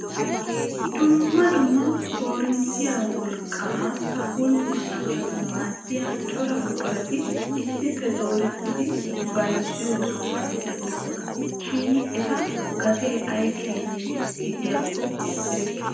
Dumma dumma koorinttiya wolqqaa pulttisanaaw maaddiya cora buqurati issippe dooretidi bayzziyo sohuwaa de'oosona. Shin eta gatee ay keena gidiyakko erikke.